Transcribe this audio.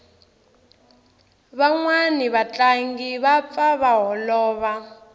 vanwani va tlangi va pfa va holova